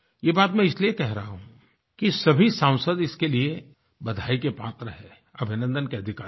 ये बात मैं इसलिये कह रहा हूँ कि सभी सांसद इसके लिये बधाई के पात्र हैं अभिनन्दन के अधिकारी हैं